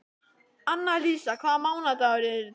Annalísa, hvaða mánaðardagur er í dag?